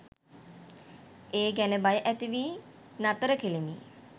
ඒ ගැන භය ඇතිවී නතර කලෙමි